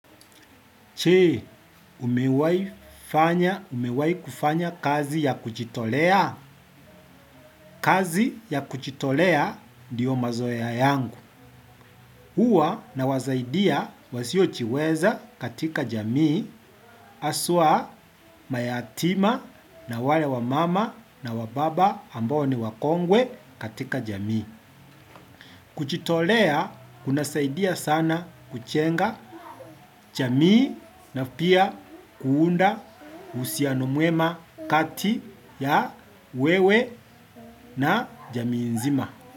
Chee, umewaifanya, umewaikufanya kazi ya kuchitolea? Kazi ya kuchitolea ndiyo mazoea yangu. Huwa nawazaidia wasiochiweza katika jamii, aswa mayatima na wale wamama na wababa ambao ni wakongwe katika jamii. Kuchitolea kunasaidia sana kuchenga chamii na pia kuunda usiano mwema kati ya wewe na jamii nzima.